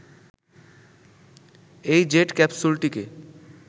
এই জেট ক্যাপসুলটিকে